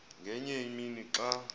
ngenye imini xa